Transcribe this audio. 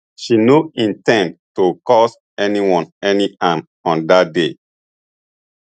she no in ten d to cause anyone any harm on dat day